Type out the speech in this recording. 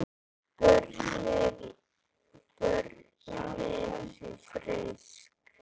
Börnin frísk.